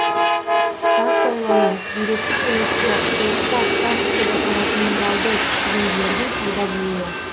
тас байлану бүйректе немесе қуықта тас деп аталатын минералды түзінділердің пайда болуы